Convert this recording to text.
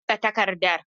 Ina buga takardar.